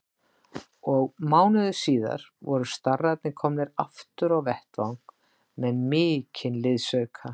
Og mánuði síðar voru starrarnir komnir aftur á vettvang með mikinn liðsauka.